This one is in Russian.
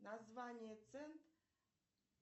название цент